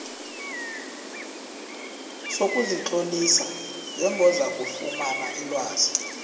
sokuzitlolisa njengozakufumana ilwazi